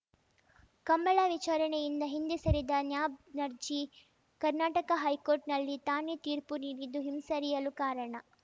ಕಂಬಳ ವಿಚಾರಣೆಯಿಂದ ಹಿಂದೆ ಸರಿದ ನ್ಯಾ ನರ್ಜಿ ಕರ್ನಾಟಕ ಹೈಕೋರ್ಟ್‌ನಲ್ಲಿ ತಾನೇ ತೀರ್ಪು ನೀಡಿದ್ದು ಹಿಂಸರಿಯಲು ಕಾರಣ